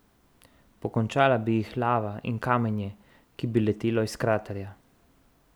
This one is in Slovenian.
Pokončala bi jih lava in kamenje, ki bi letelo iz kraterja.